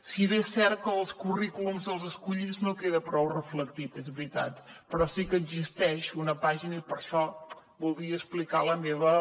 si bé és cert que els currículums dels escollits no queden prou reflectits és veritat però sí que existeix una pàgina i per això voldria explicar la meva